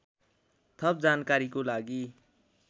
थप जानकारीको लागि